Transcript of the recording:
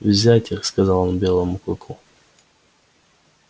взять их сказал он белому клыку